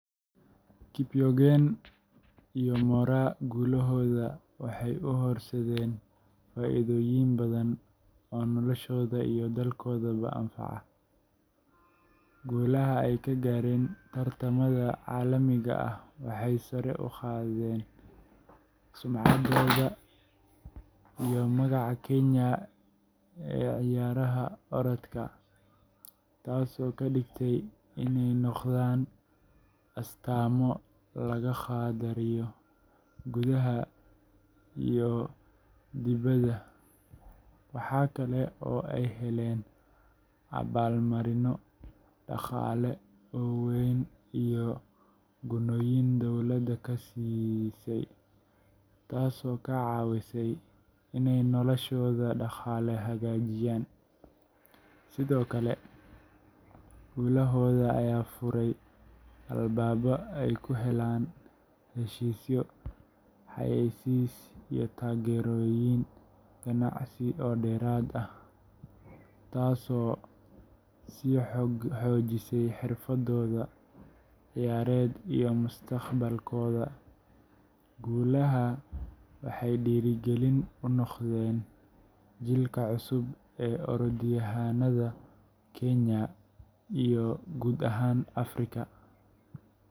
Faith Kipyegon iyo Mary Moraa guulahooda waxay u horseedeen faa’iidooyin badan oo noloshooda iyo dalkoodaba anfacaya. Guulaha ay ka gaareen tartamada caalamiga ah waxay sare u qaadeen sumcaddooda iyo magaca Kenya ee ciyaaraha orodka, taasoo ka dhigtay inay noqdaan astaamo laga qadariyo gudaha iyo dibaddaba. Waxa kale oo ay heleen abaalmarinno dhaqaale oo weyn iyo gunnooyin dowladda ka siisay, taasoo ka caawisay inay noloshooda dhaqaale hagaajiyaan. Sidoo kale, guulahooda ayaa furay albaabo ay ku helaan heshiisyo xayeysiis iyo taageerooyin ganacsi oo dheeraad ah, taasoo sii xoojisay xirfadooda ciyaareed iyo mustaqbalkooda. Guulahan waxay dhiirrigelin u noqdeen jiilka cusub ee orodyahannada Kenya iyo guud ahaan Afrika.